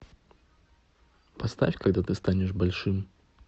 поставь когда ты станешь большим